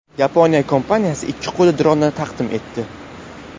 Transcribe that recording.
Yaponiya kompaniyasi ikki qo‘lli dronni taqdim etdi.